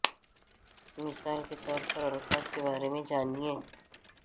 مثال کے طور پر الفاظ کے بارے میں جانیں